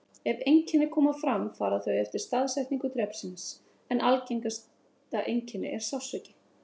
Ef einkenni koma fram fara þau eftir staðsetningu drepsins, en algengasta einkenni er sársauki.